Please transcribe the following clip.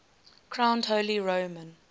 crowned holy roman